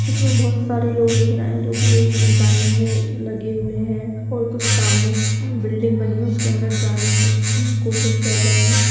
इस मे बहुत सारे लोग दिख रहे हैं जो की लाइन में लगे हुए हैं और कुछ सामने बिल्डिंग बनी हुई है उसके अंदर जाने की कोशिश कर रहे हैं।